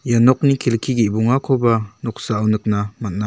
ia nokni kelki ge·bongakoba noksao nikna man·a.